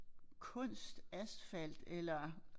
Kunst asfalt eller